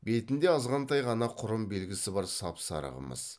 бетінде азғантай ғана құрым белгісі бар сап сары қымыз